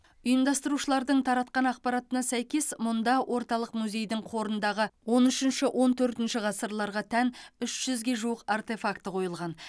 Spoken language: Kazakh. ұйымдастырушылардың таратқан ақпаратына сәйкес мұнда орталық музейдің қорындағы он үшінші он төртінші ғасырларға тән үш жүзге жуық артефакті қойылған